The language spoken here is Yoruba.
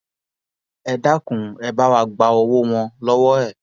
ẹ dákun ẹ bá wá gba owó wọn lọwọ ẹ